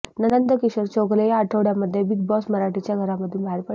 नंदकिशोर चौघुले या आठवड्यामध्ये Bigg Boss मराठीच्या घरामधून बाहेर पडले